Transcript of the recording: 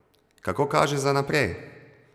Kako kaže za naprej?